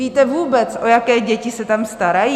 Víte vůbec, o jaké děti se tam starají?